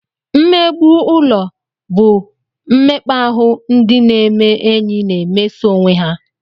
Mmegbu ụlọ bụ mmekpa ahụ ndị na-eme enyi na-emeso onwe ha